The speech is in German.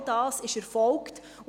All das erfolgte.